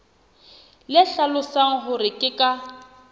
le hlalosang hore ke ka